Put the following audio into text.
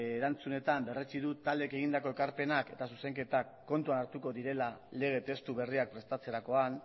erantzunetan berretsi du taldeek egindako ekarpenak eta zuzenketak kontuan hartuko direla lege testu berriak prestatzerakoan